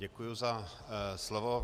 Děkuji za slovo.